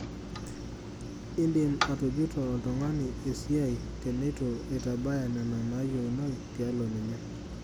Indim atujuto oltung'ani esia teneitu eitabaya nena naayieunoi tialo ninye.